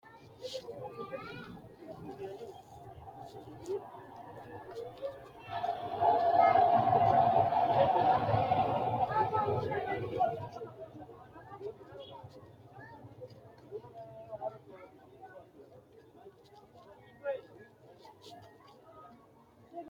Konne darg leelano addi addi seesi uduunichi loosamino gari leelishanori lowo biinfille leelishanno hakiini saenno isi leelanno basera minamino mini lowo horo afirinno